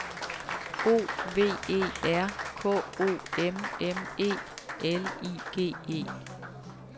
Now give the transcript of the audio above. O V E R K O M M E L I G E